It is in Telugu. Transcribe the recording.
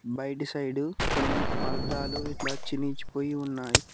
బయట సైడు కొన్ని పర్థాలు ఇట్లా చినిచిపోయి ఉన్నాయి.